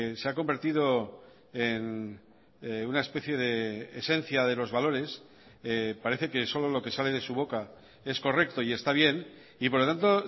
se ha convertido en una especie de esencia de los valores parece que solo lo que sale de su boca es correcto y está bien y por lo tanto